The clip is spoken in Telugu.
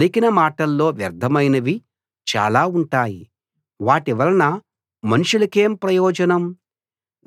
పలికిన మాటల్లో వ్యర్థమైనవి చాలా ఉంటాయి వాటివలన మనుషులకేం ప్రయోజనం